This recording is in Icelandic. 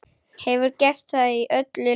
Hefur gert það í öllum leikjum